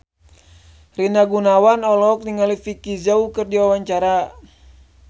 Rina Gunawan olohok ningali Vicki Zao keur diwawancara